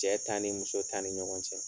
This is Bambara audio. Cɛ ta ni muso ta ni ɲɔgɔn cɛ